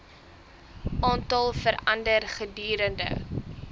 aantal verander gedurende